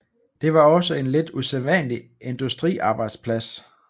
Det var også en lidt usædvanlig industriarbejdsplads